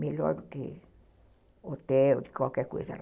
Melhor do que hotel, de qualquer coisa lá.